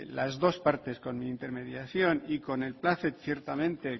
las dos partes con mi intermediación y con el ciertamente